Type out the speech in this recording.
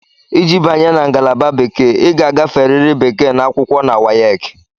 Iji banye na ngalaba bekee, ị ga-agaferịrị Bekee na akwụkwọ na WAEC.